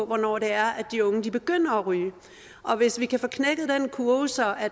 hvornår det er at de unge begynder at ryge og hvis vi kan få knækket den kurve så